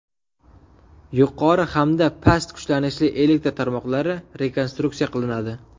Yuqori hamda past kuchlanishli elektr tarmoqlari rekonstruksiya qilinadi.